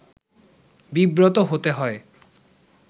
বিব্রত হতে হয়